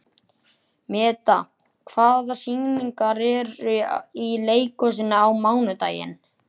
Meda, hvaða sýningar eru í leikhúsinu á mánudaginn?